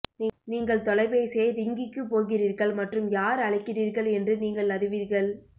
நீங்கள் தொலைபேசியை ரிங்கிக்கு போகிறீர்கள் மற்றும் யார் அழைக்கிறீர்கள் என்று நீங்கள் அறிவீர்கள்